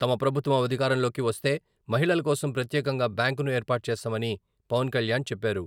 తమ ప్రభుత్వం అధికారంలోకి వస్తే మహిళల కోసం ప్రత్యేకంగా బ్యాంకును ఏర్పాటు చేస్తామని పవన్ కళ్యాణ్ చెప్పారు.